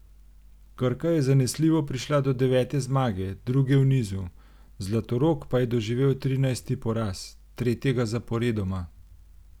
Krka je zanesljivo prišla do devete zmage, druge v nizu, Zlatorog pa je doživel trinajsti poraz, tretjega zaporedoma.